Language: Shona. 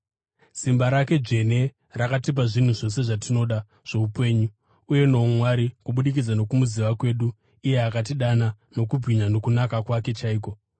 Simba rake dzvene rakatipa zvinhu zvose zvatinoda zvoupenyu uye noumwari kubudikidza nokumuziva kwedu iye akatidana nokubwinya nokunaka kwake chaiko.